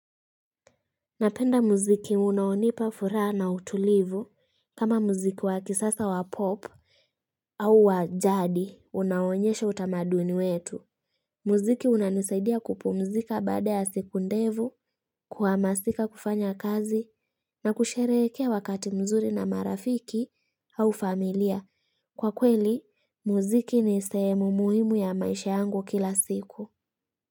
Napenda muziki unaonipa furaa na utulivu kama muziki wa kisasa wa pop au wajadi unaonyesha utamaduni wetu Muziki unanisaidia kupumzika baada ya siku ndevu kuamasika kufanya kazi na kushereekea wakati mzuri na marafiki au familia kwa kweli muziki ni seemu muhimu ya maisha yangu kila siku.